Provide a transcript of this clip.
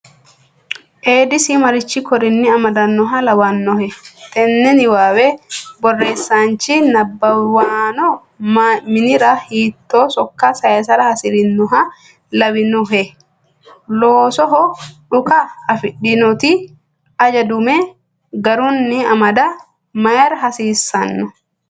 Eedisi marichi korinni amadannoha lawannohe? Tenne niwaawe borreesaanchi nabbawanno mannira hiittoo sokka saysara hasi’rinoha lawannohe? Loosoho dhuka afidhinoti aja dume garunni amada mayra hasiissanno?